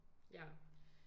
Ja